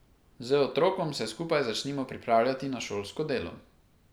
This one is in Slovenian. Z otrokom se skupaj začnimo pripravljati na šolsko delo.